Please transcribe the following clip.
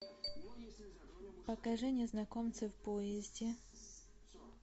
покажи незнакомцы в поезде